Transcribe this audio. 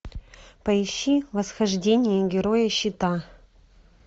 поищи восхождение героя щита